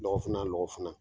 lɔgɔ fina o lɔgɔ fina